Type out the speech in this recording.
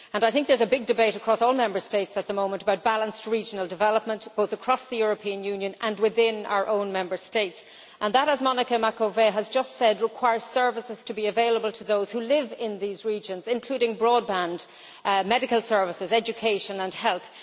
I think there is a big debate across all Member States at the moment about balanced regional development, both across the European Union and within our own Member States and that, as Monica Macovei has just said, requires services to be available to those who live in these regions, including broadband, medical services, education and health.